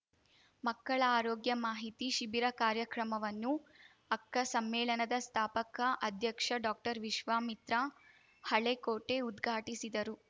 ಮಕ್ಕಳ ಆರೋಗ್ಯ ಮಾಹಿತಿ ಶಿಬಿರ ಕಾರ್ಯಕ್ರಮವನ್ನು ಅಕ್ಕ ಸಮ್ಮೇಳನದ ಸ್ಥಾಪಕ ಅಧ್ಯಕ್ಷ ಡಾಕ್ಟರ್ವಿಶ್ವಾಮಿತ್ರ ಹಳೆಕೋಟೆ ಉದ್ಘಾಟಿಸಿದರು